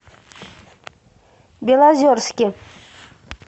белозерске